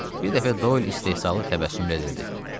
Bir dəfə Doyl istehzalı təbəssümlə dedi.